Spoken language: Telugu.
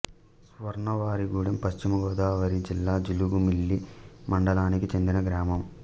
స్వర్ణవారిగూడెం పశ్చిమ గోదావరి జిల్లా జీలుగుమిల్లి మండలానికి చెందిన గ్రామం